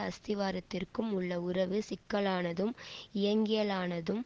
அஸ்திவாரத்திற்கும் உள்ள உறவு சிக்கலானதும் இயங்கியலானதும்